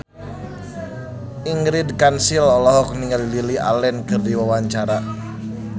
Ingrid Kansil olohok ningali Lily Allen keur diwawancara